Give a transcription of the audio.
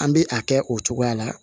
An bɛ a kɛ o cogoya la